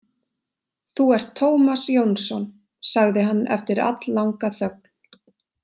Þú ert Tómas Jónsson, sagði hann eftir alllanga þögn.